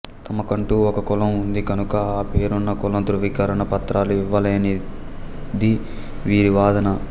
తమ కంటూ ఒక కులం ఉంది కనుక ఆ పేరున కుల ధ్రువీకరణ పత్రాలు ఇవ్వాలనేది వీరి వాదన